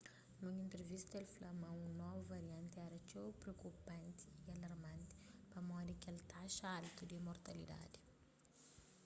nun entrivista el fla ma un novu varianti éra txeu priokupanti y alarmanti pamodi kel taxa altu di mortalidadi